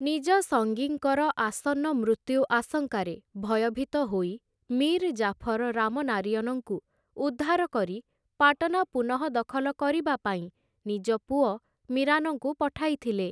ନିଜ ସଙ୍ଗୀଙ୍କର ଆସନ୍ନ ମୃତ୍ୟୁ ଆଶଙ୍କାରେ ଭୟଭୀତ ହୋଇ ମୀର୍ ଜାଫର ରାମନାରିୟନଙ୍କୁ ଉଦ୍ଧାର କରି ପାଟନା ପୁନଃଦଖଲ କରିବା ପାଇଁ ନିଜ ପୁଅ ମୀରାନଙ୍କୁ ପଠାଇଥିଲେ ।